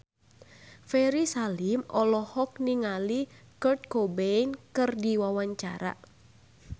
Ferry Salim olohok ningali Kurt Cobain keur diwawancara